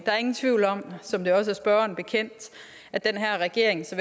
er ingen tvivl om som det også er spørgeren bekendt at den her regering så